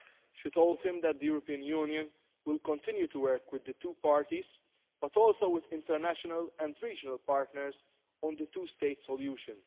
She told him that the European Union will continue to work with the two parties, but also with international and regional partners, on the two state solution.